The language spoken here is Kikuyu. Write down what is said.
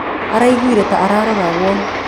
Araĩgũĩre ta araroragwo